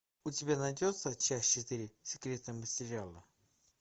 у тебя найдется часть четыре секретные материалы